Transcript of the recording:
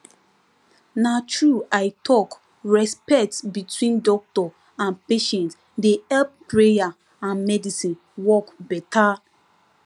na true i talkrespect between doctor and patient dey help prayer and medicine work better